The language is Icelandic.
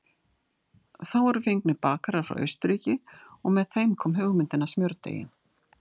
Þá voru fengnir bakarar frá Austurríki og með þeim kom hugmyndin að smjördeigi.